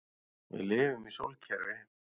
Við lifum í sólkerfi.